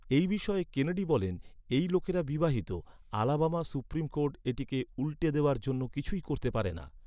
এই বিষয়ে কেনেডি বলেন, "এই লোকেরা বিবাহিত। আলাবামা সুপ্রিম কোর্ট এটিকে উল্টে দেওয়ার জন্য কিছুই করতে পারে না।"